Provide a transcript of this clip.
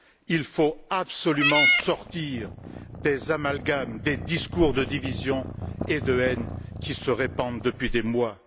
Il faut absolument sortir des amalgames, des discours de division et de haine qui se répandent depuis des mois.